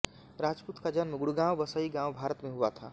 राजपूत का जन्म गुड़गांव बसई गांव भारत में हुआ था